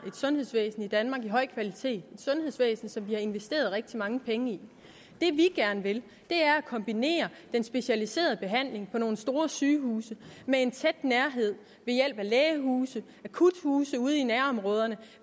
sundhedsvæsen i danmark af høj kvalitet et sundhedsvæsen som vi har investeret rigtig mange penge i det vi gerne vil er at kombinere den specialiserede behandling på nogle store sygehuse med en tæt nærhed ved hjælp af lægehuse akuthuse ude i nærområderne